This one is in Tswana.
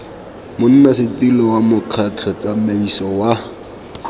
monnasetilo wa mokgatlho tsamaiso wa